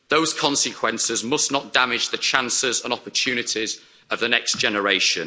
Those consequences must not damage the chances and opportunities of the next generation.